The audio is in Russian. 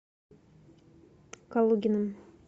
калугиным